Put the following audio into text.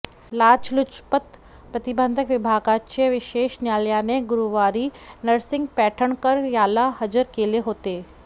लाचलुचपत प्रतिबंधक विभागाच्या विशेष न्यायालयाने गुरुवारी नरसिंह पैठणकर याला हजर केले होते